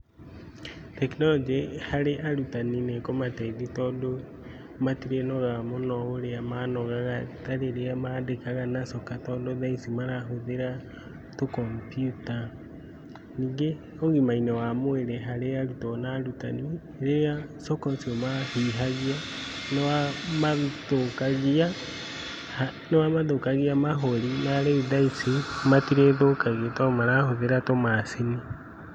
Tekinoronjĩ harĩ arutani nĩ ĩkũmateithia tondũ matirĩnogaga mũno ũrĩa manogaga tarĩrĩa mandĩkaga na coka, tondũ thaa ici marahũthĩra tũ kombiuta. Ningĩ ũgima-ini wa mwĩrĩ harĩ arutwo na arutani, rĩrĩa coka ũcio mahihagia nĩ wa mathũkagia mahũri narĩu thaa ici matirĩthũkagio tondũ marahũthĩra tũmacini.